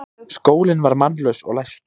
Skólinn var mannlaus og læstur.